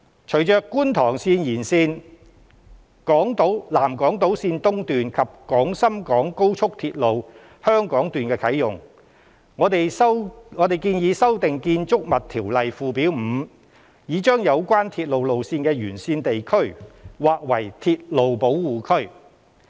隨着觀塘綫延綫、南港島綫及廣深港高速鐵路的啟用，我們建議修訂《條例》附表 5， 以將有關鐵路路線的沿線地區劃為鐵路保護區。